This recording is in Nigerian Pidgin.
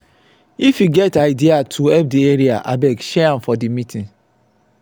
if you get idea to help the area abeg share am for the meeting.